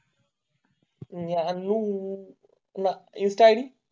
गानू ना इन्स्टा ईद